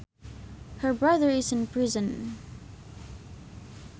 Her brother is in prison